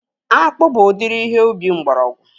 Akpụ bụ udiri ihe ubi mgbọrọgwụ